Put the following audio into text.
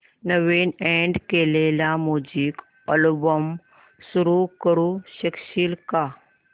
नवीन add केलेला music album सुरू करू शकशील का